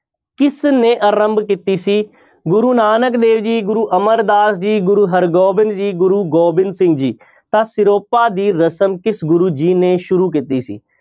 ਕਿਸਨੇ ਆਰੰਭ ਕੀਤੀ, ਗੁਰੂ ਨਾਨਕ ਦੇਵ ਜੀ, ਗੁਰੂ ਅਮਰਦਾਸ ਜੀ, ਗੁਰੂ ਹਰਿਗੋਬਿੰਦ ਜੀ, ਗੁਰੂ ਗੋਬਿੰਦ ਸਿੰਘ ਜੀ ਤਾਂ ਸਿਰੋਪਾ ਦੀ ਰਸਮ ਕਿਸ ਗੁਰੂ ਜੀ ਨੇ ਸ਼ੁਰੂ ਕੀਤੀ ਸੀ?